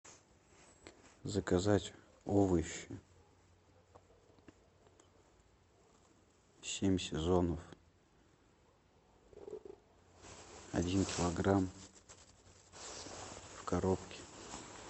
заказать овощи семь сезонов один килограмм в коробке